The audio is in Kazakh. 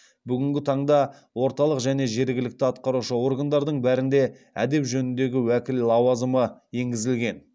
бүгінгі таңда орталық және жергілікті атқарушы органдардың бәрінде әдеп жөніндегі уәкіл лауазымы енгізілген